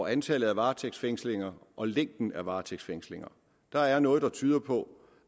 antallet af varetægtsfængslinger og længden af varetægtsfængslinger der er noget der tyder på